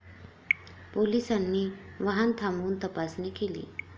पोलिसांनी वाहन थांबवून तपासणी केली.